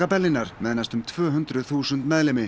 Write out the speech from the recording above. Berlínar með næstum tvö hundruð þúsund meðlimi